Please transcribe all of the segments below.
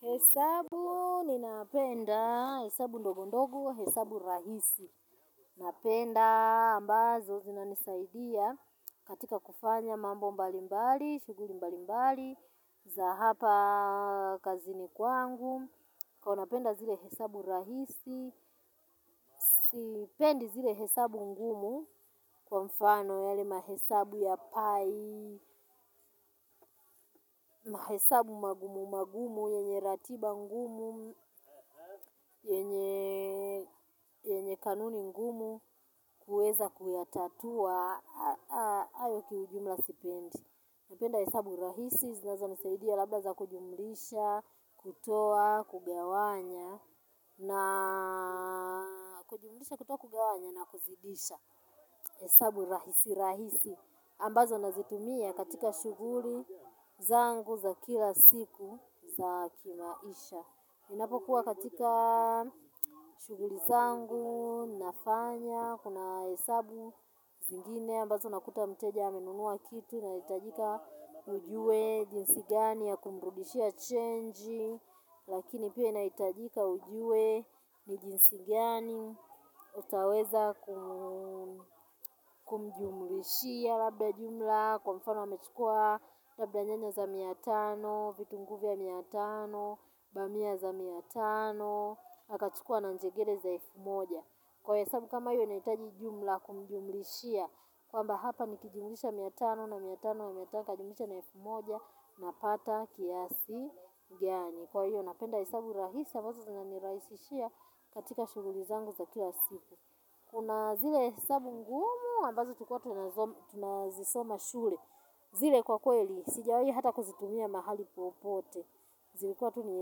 Hesabu ninapenda, hesabu ndogo ndogo, hesabu rahisi. Napenda ambazo zinanisaidia katika kufanya mambo mbali mbali, shughuli mbali mbali, za hapa kazini kwangu. Kwani napenda zile hesabu rahisi, sipendi zile hesabu ngumu kwa mfano yale mahesabu ya pai, na hesabu magumu, magumu, yenye ratiba ngumu, yenye kanuni ngumu, kuweza kuyatatua, hayo kiujumla sipendi. Napenda hesabu rahisi, zinazo nisaidia labla za kujumlisha, kutoa, kugawanya, na kujumlisha, kutoa, kugawanya, na kuzidisha. Hesabu rahisi rahisi. Ambazo nazitumia katika shughuli zangu za kila siku za kimaisha. Ninapokuwa katika shughuli zangu nafanya kuna hesabu zingine. Ambazo nakuta mteja amenunua kitu naitajika ujue jinsi gani ya kumrudishia chenji. Lakini pia inahitajika ujue ni jinsi gani utayoweza kumjumlishia labda jumla. Kwa mfano amechukua labda nyanya za mia tano vitunguu vya mia tano, bamia za mia tano akachukua na zingine za elfu moja. Kwa hesabu kama hiyo inahitaji jumla kumjumlishia kwamba hapa nikijumisha mia tano na mia tano na mia tano kajumlisha naelfu moja napata kiasi gani. Kwa hiyo, napenda hesabu rahisi ambazo zinanirahisishia katika shughuli zangu za kila siku. Kuna zile hesabu ngumu, ambazo tulikuwa tunazisoma shule. Zile kwa kwe li, sijawai hata kuzitumia mahali popote. Zilikuwa tu ni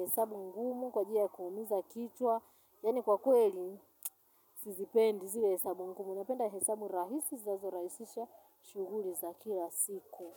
hesabu ngumu, kwajili ya kumiza kichwa. Yani kwa kweli, sizipendi zile hesabu ngumu. Napenda hesabu rahisi za zinazoraisisha shughuli za kila siku.